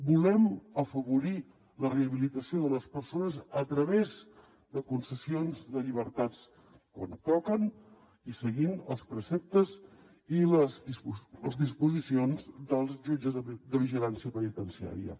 volem afavorir la rehabilitació de les persones a través de concessions de llibertats quan toquen i seguint els preceptes i les disposicions dels jutges de vigilància penitenciària